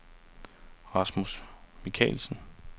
Rasmus Michelsen